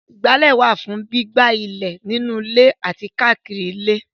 Ìgbálẹ̀ wà fún gbígbá ilẹ̀ nínú ilé àti káàkiri ilé.